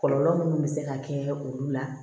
Kɔlɔlɔ minnu bɛ se ka kɛ olu la